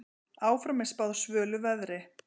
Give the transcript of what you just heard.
Áfram er spáð svölu veðri.